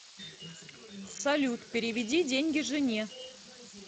салют переведи деньги жене